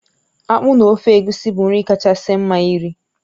Akpụ na ofe egusi bụ nri kachasị mma nri